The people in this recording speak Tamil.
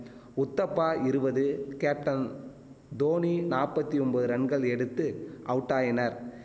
உத்தப்பா இருவது கேப்டன் தோனி நாற்பத்தி ஒம்பது ரன்கள் எடுத்து அவுட்டாயினர்